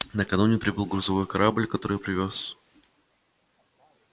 накануне прибыл грузовой корабль который привёз